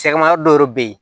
Sɛgɛnma yɔrɔ dɔ bɛ yen